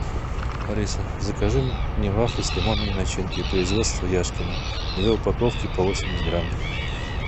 алиса закажи мне вафли с лимонной начинкой производство яшкино две упаковки по восемьдесят грамм